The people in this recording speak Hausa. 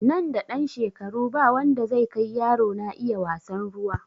Nan da ɗan shekaru ba wanda zai kai yaro na iya wasan ruwa